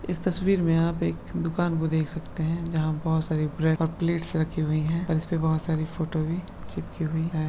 इस तस्वीर में आप एक दुकान को देख सकते हैं जहाँ बहुत सारी ब्रेड और प्लेट्स रखी हुई है और इस पर बहुत सारी फोटो भी चिपकी हुई है।